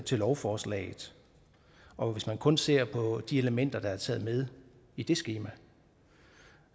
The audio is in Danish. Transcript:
til lovforslaget og kun ser på de elementer der er taget med i det skema